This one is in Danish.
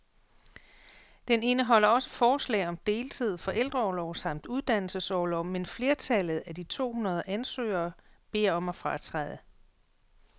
Den indeholder også forslag om deltid, forældreorlov samt uddannelsesorlov, men flertallet af de to hundrede ansøgere beder om at fratræde.